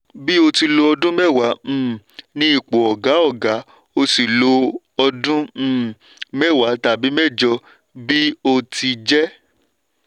tí ó lọ ọdún mẹ́wàá um ní ipò ọ̀gá ọ̀gá ó sì lọ ọdún um mẹ́wàá tàbí mẹ́jọ bí ó ti jẹ́.